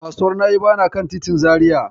Kasuwar Na'ibawa na kan titin Zariya.